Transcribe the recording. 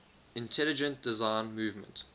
intelligent design movement